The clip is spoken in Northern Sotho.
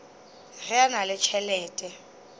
ge a na le tšhelete